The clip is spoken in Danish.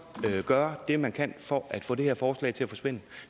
gøre hvad man kan for at få det her forslag til at forsvinde